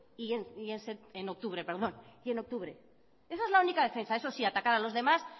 y en octubre esa es la única defensa eso sí atacar a los demás